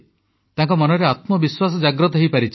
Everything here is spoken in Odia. ତାଙ୍କ ମନରେ ଆତ୍ମବିଶ୍ୱାସ ଜାଗ୍ରତ ହୋଇପାରିଛି